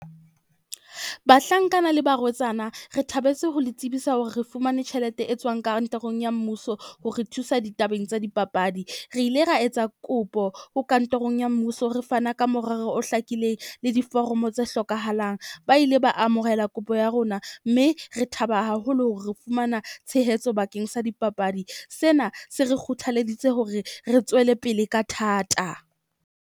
Bahlankana le barwetsana, re thabetse ho le tsebisa hore re fumane tjhelete e tswang kantorong ya mmuso, ho re thusa ditabeng tsa dipapadi. Re ile ra etsa kopo ho kantorong ya mmuso. Re fana ka morero o hlakileng le diforomo tse hlokahalang. Ba ile ba amohela kopo ya rona mme re thaba haholo hore re fumana tshehetso bakeng sa dipapadi. Sena se re kgothaleditse hore re tswele pele ka thata.